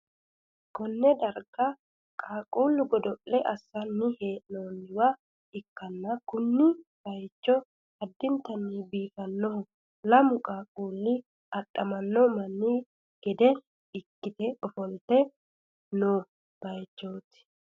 konne darga qaaqqullu godo'le assi'nanni hee'noonniwa ikkanna, kuni bayichino addintanni biifannoho, lamu qaaqqulli adhamanno manni gede ikkite ofolte noo bayichooti.